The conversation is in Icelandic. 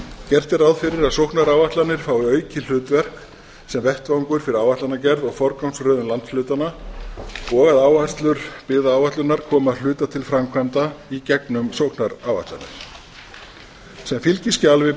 gert er ráð fyrir að sóknaráætlanir fái aukið hlutverk sem vettvangur fyrir áætlanagerð og forgangsröðun landshlutanna og að áherslur byggðaáætlunar koma að hluta til framkvæmda í gegnum sóknaráætlanir sem fylgiskjal við